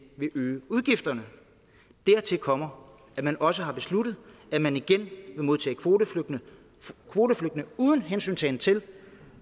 vil øge udgifterne dertil kommer at man også har besluttet at man igen vil modtage kvoteflygtninge uden hensyntagen til